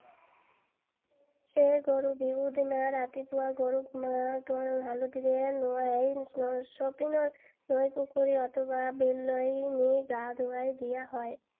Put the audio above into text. সেয়ে গৰু বিহুৰ দিনা ৰাতিপুৱা গৰুক মাহ হালধিৰে নোৱাই সমীপৰ নৈ, পুখুৰী অথবা বিললৈ নি গা ধুৱাই দিয়া হয়।